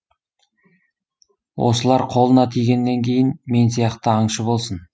осылар қолына тигеннен кейін мен сияқты аңшы болсын